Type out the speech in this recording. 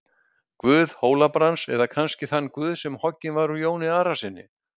Guð Hóla-Brands, eða kannski þann guð sem hoggin var úr Jóni Arasyni?